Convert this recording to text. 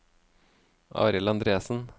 Arild Andresen